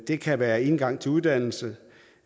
det kan være indgang til uddannelse